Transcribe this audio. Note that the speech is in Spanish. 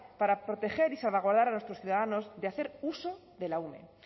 para proteger y salvaguardar a nuestros ciudadanos de hacer uso de la ume